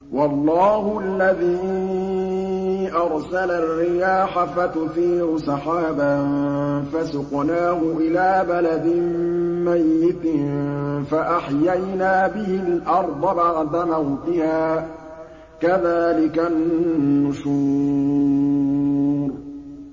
وَاللَّهُ الَّذِي أَرْسَلَ الرِّيَاحَ فَتُثِيرُ سَحَابًا فَسُقْنَاهُ إِلَىٰ بَلَدٍ مَّيِّتٍ فَأَحْيَيْنَا بِهِ الْأَرْضَ بَعْدَ مَوْتِهَا ۚ كَذَٰلِكَ النُّشُورُ